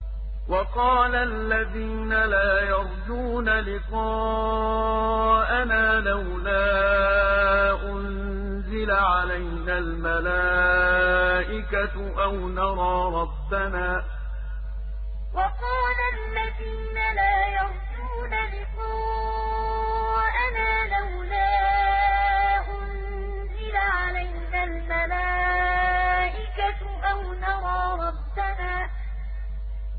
۞ وَقَالَ الَّذِينَ لَا يَرْجُونَ لِقَاءَنَا لَوْلَا أُنزِلَ عَلَيْنَا الْمَلَائِكَةُ أَوْ نَرَىٰ رَبَّنَا ۗ